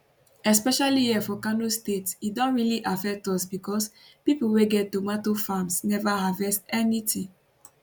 especially here for kano state e don really affect us becos pipo wey get tomato farms never harvest anytin